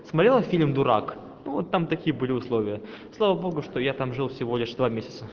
смотрела фильм дурак вот там такие были условия слава богу что я там жил всего лишь два месяца